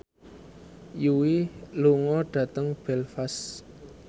Yui lunga dhateng Belfast